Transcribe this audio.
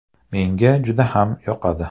Menga juda ham yoqadi.